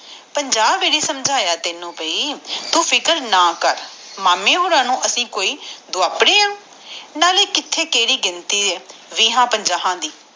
ਪੰਜ ਵੇਲੇ ਸਮਝਿਆ ਤੈਨੂੰ ਬਾਈ ਤੂੰ ਚਿੰਤਾ ਨਾ ਕਰ ਮਾਮੇ ਹੋਣਾ ਨੂੰ ਅਸੀਂ ਕੋਈ ਦੁਆਪ੍ਣੇ ਆ ਨਾਲੇ ਕਿਹੜੀ ਕਿਥੇ ਗਿਣਤੀ ਆ ਵੀਹ ਪੰਜਾਹ ਦੀ